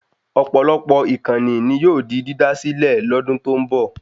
Ọ̀pọ̀lọpọ̀ ìkànnì ni yóò di dídá sílẹ̀ lọ́dún tó ń bọ̀